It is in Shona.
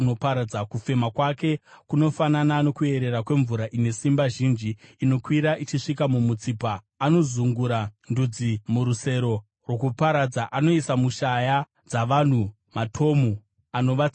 Kufema kwake kunofanana nokuyerera kwemvura ine simba zhinji, inokwira ichisvika mumutsipa. Anozungura ndudzi murusero rwokuparadza; anoisa mushaya dzavanhu matomu anovatsausa.